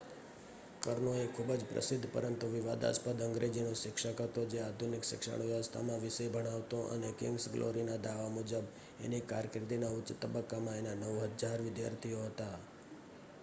કર્નો એ ખુભ જ પ્રસિદ્ધ પરંતુ વિવાદાસ્પદ અંગ્રેજીનો શિક્ષક હતો જે આધુનિક શિક્ષણ વ્યવસ્થામાં વિષય ભણાવતો અને કિંગ્સ ગ્લોરીના દાવા મુજબ એની કારકિર્દીના ઉચ્ચ તબક્કામાં એના 9000 વિદ્યાર્થીઓ હતા